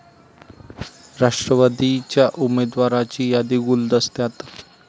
राष्ट्रवादीच्या उमेदवारांची यादी गुलदस्त्यात